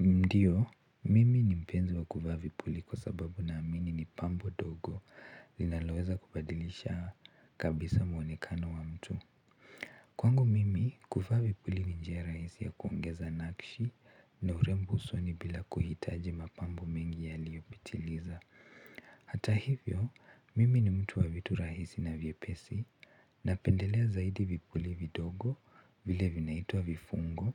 Ndiyo mimi mpenzi wa kuvaa vipuli kwa sababu na amini ni pambo ndogo linaloweza kubadilisha kabisa mwonekano wa mtu kwangu mimi, kuvaa vipuli ni njia rahisi ya kuongeza nakshi na urembo usoni bila kuhitaji mapambo mengi yaliiyopitiliza. Hata hivyo mimi ni mtu wa vitu rahisi na vyepesi, napendelea zaidi vipuli vidogo vile vinaitwa vifungo